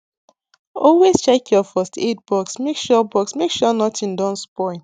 always check your first aid box make sure box make sure nothing don spoil